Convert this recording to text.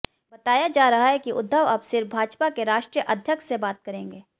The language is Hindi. बताया जा रहा है कि उद्धव अब सिर्फ भाजपा के राष्ट्रीय अध्यक्ष से बात करेंगे